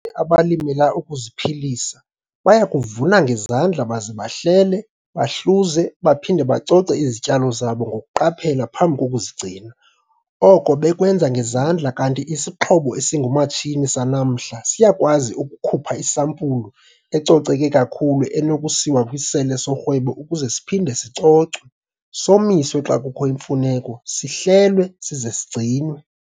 abalimela ukuziphilisa baya kuvuna ngezandla baze bahlele, bahluze baphinde bacoce izityalo zabo ngokuqaphela phambi kokuzigcina, oko bekwenza ngezandla kanti isixhobo esingumatshini sanamhla siyakwazi ukukhupha isampulu ecoceke kakhulu enokusiwa kwisele sorhwebo ukuze siphinde sicocwe, somiswe xa kukho imfuneko, sihlelwe size sigcinwe.